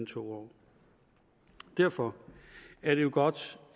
to år og derfor er det jo godt